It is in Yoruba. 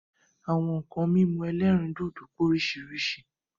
Àwọn nkan mímu ẹlẹ́rìndòdò pé oríṣiríṣi